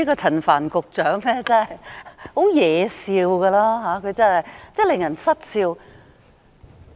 陳帆局長真的很惹笑，令人失笑。